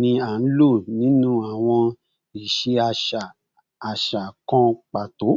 ni a lo ninu awọn iṣe aṣa aṣa kan pato